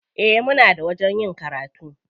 Eh, muna da wajen yin karatu.